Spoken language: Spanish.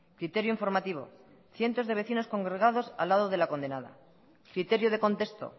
criterio informativo cientos devecinos congregados al lado de la condenada criterio de contexto